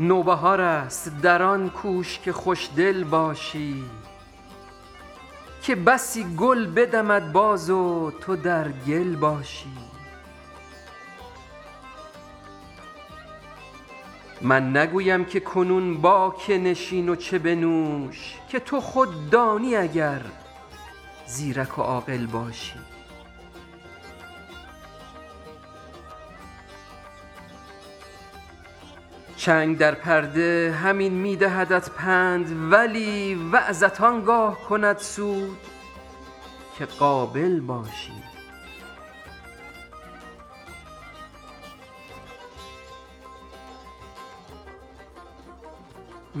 نوبهار است در آن کوش که خوش دل باشی که بسی گل بدمد باز و تو در گل باشی من نگویم که کنون با که نشین و چه بنوش که تو خود دانی اگر زیرک و عاقل باشی چنگ در پرده همین می دهدت پند ولی وعظت آن گاه کند سود که قابل باشی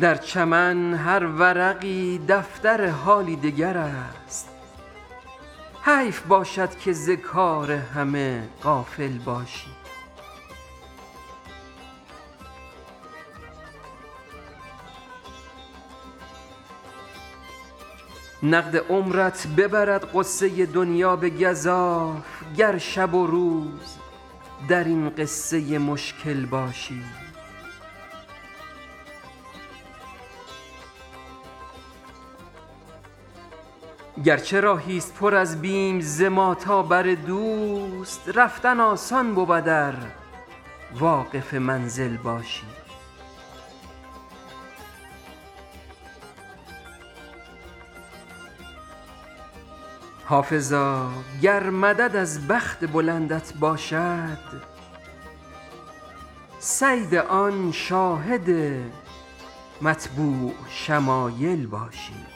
در چمن هر ورقی دفتر حالی دگر است حیف باشد که ز کار همه غافل باشی نقد عمرت ببرد غصه دنیا به گزاف گر شب و روز در این قصه مشکل باشی گر چه راهی ست پر از بیم ز ما تا بر دوست رفتن آسان بود ار واقف منزل باشی حافظا گر مدد از بخت بلندت باشد صید آن شاهد مطبوع شمایل باشی